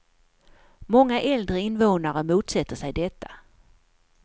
Många äldre invånare motsätter sig detta.